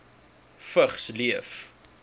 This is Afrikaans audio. vigs leef